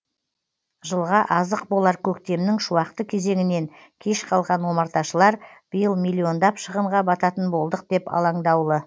жылға азық болар көктемнің шуақты кезеңінен кеш қалған омарташылар биыл миллиондап шығынға бататын болдық деп алаңдаулы